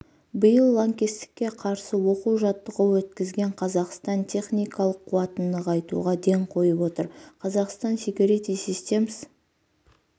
биыл лаңкестікке қарсы оқу-жаттығу өткізген қазақстан техникалық қуатын нығайтуға ден қойып отыр қазақстан секьюрити системс